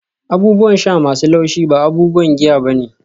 abubuwan sha masu laushi ba abubuwan giya ba ne